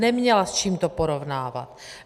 Neměla, s čím to porovnávat.